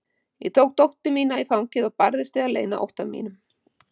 Ég tók dóttur mína í fangið og barðist við að leyna ótta mínum.